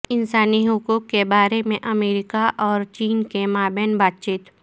انسانی حقوق کے بارے میں امریکہ اور چین کے مابین بات چیت